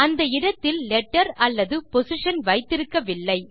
அந்த இடத்தில் லெட்டர் அல்லது பொசிஷன் வைத்திருக்கவில்லை